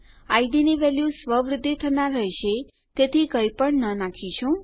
ID ની value સ્વ વૃદ્ધિ થનાર રહેશે તેથી કઈ પણ ન નાખીશું